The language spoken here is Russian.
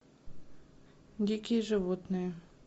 дикие животные